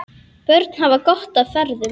Börn hafa gott af feðrum.